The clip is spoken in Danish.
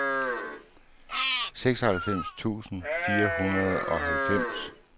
seksoghalvfems tusind fire hundrede og halvfems